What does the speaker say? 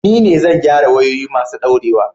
Ni ne zai gyara wayoyi masu daurewa